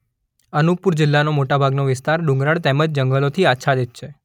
અનુપપુર જિલ્લાનો મોટા ભાગનો વિસ્તાર ડુંગરાળ તેમ જંગલોથી આચ્છાદિત છે.